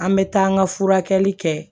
An bɛ taa an ka furakɛli kɛ